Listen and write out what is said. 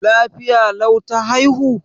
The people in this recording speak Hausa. Lafiya lau ta haihu?